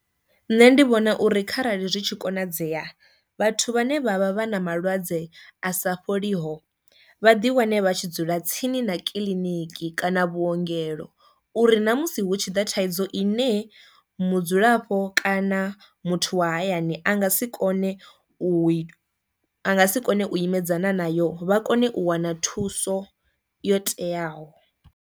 Nṋe ndi vhona uri kharali zwi tshi konadzea vhathu vhane vha vha vha na malwadze a sa fholiho vha ḓi wane vha tshi dzula tsini na kiḽiniki kana vhuongelo uri na musi hu tshi ḓo thaidzo i ne mudzulapo kana muthu wa hayani a nga si kone u a nga si kone u imedzana na yo vha kone u wana thuso yo teaho.